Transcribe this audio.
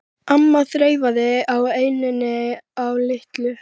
amma þreifaði á enninu á Lillu.